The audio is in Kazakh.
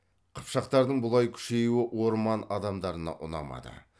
қыпшақтардың бұлай күшеюі орман адамдарына ұнамады